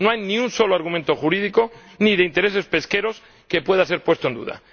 No hay ni un solo argumento jurídico, ni de intereses pesqueros, que pueda ser puesto en duda.